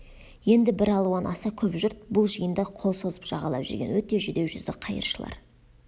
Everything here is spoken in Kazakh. енді бір алуан аса көп жұрт бұл жиында қол созып жағалап жүрген өте жүдеу жүзді қайыршылар